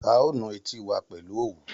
A ó nu etí wa pẹ̀lú òwú